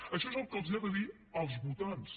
això és el que els ha de dir als voltants